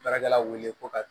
Baarakɛlaw wele ko ka